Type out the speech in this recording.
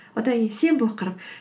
одан кейін сенбі оқырмын